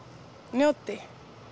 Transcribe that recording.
njóti